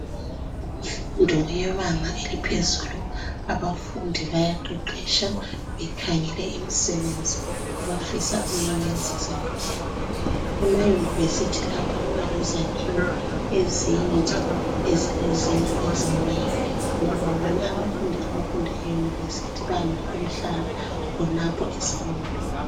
imfundo yebanga eliphezulu abantu bayaqheqetsha bekhangela imisebenzi abafisa ukuyiyenza sebekhulile ema university lapha kuba lezakhiwo ezinde ezilezindlu ezinengi bande ngoba abafundi base university bandise ukuhlala khonapha esikolo